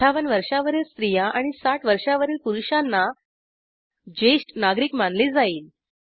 ५८ वर्षावरील स्त्रिया आणि ६० वर्षावरील पुरुषांना ज्येष्ट नागरिक मानले जाईल